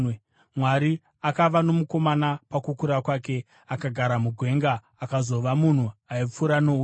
Mwari akava nomukomana pakukura kwake. Akagara mugwenga akazova munhu aipfura nouta.